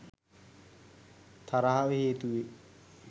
තරහව හේතු වේ.